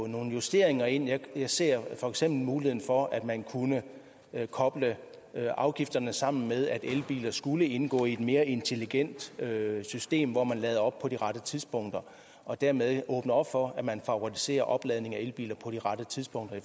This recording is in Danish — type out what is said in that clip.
nogle justeringer ind jeg ser for eksempel muligheden for at man kunne koble afgifterne sammen med at elbiler skulle indgå i et mere intelligent system hvor man lader op på de rette tidspunkter og dermed åbner op for at man favoriserer opladning af elbiler på de rette tidspunkter i